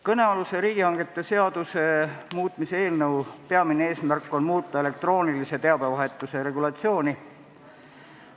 Kõnealuse riigihangete seaduse muutmise seaduse eelnõu peamine eesmärk on muuta elektroonilise teabevahetuse regulatsiooni.